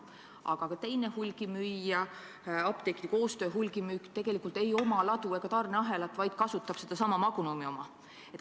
Aga ka teine hulgimüüja, Apteekide Koostöö Hulgimüük, tegelikult ei oma ladu ega tarneahelat, vaid kasutab sedasama Magnumi oma.